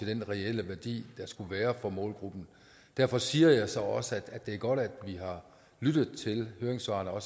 den reelle værdi der skulle være for målgruppen derfor siger jeg så også at det er godt at vi har lyttet til høringssvarene og